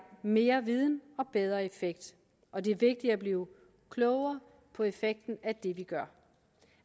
mere viden og bedre effekt og det er vigtigt at blive klogere på effekten af det vi gør